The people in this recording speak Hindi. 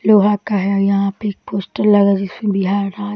लोहा का है यहाँ पे एक पोस्टर लगा जिसमें बिहार राज्य --